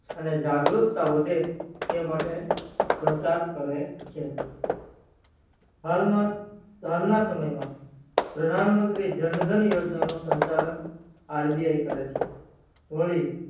અને જાગરૂકતા વધે તેમતે પ્રચાર કરે છે હાલમાં ના સમય માં પ્રધાન મંત્રી જન ધન યોજના નો સંચાલન RBI કરે છે વળી